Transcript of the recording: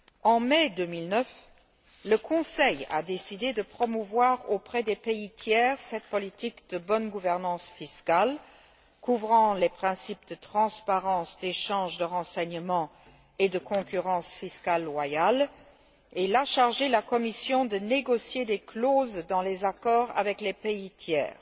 En mai 2008, le Conseil a décidé de promouvoir auprès des pays tiers cette politique de bonne gouvernance fiscale couvrant les principes de transparence, d'échange de renseignements et de concurrence fiscale loyale, et il a chargé la Commission de négocier des clauses dans les accords avec les pays tiers.